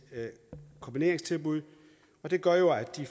kombineringstilbud og det gør at de